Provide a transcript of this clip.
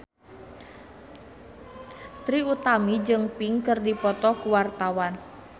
Trie Utami jeung Pink keur dipoto ku wartawan